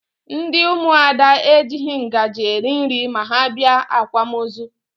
Ndị ụmụada ejighi ngaji eri nri ma ha bịa akwamozu